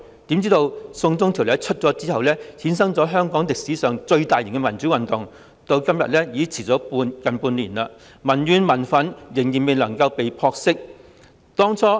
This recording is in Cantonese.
豈料，"送中條例"推出後，衍生了香港歷史上最大型的民主運動，至今已經持續近半年，民怨和民憤仍然未能被撲熄。